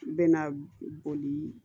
Bɛna boli